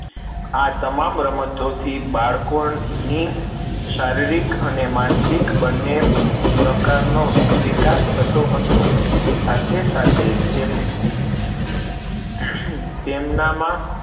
આ તમામ રમતોથી બાળકોની શારીરિક અને માનસિક બને પ્રકાર નો વિકાસ થતો હતો સાથે સાથે તેમ તેમના માં